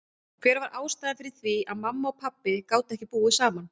Hver var ástæðan fyrir því að mamma og pabbi gátu ekki búið saman?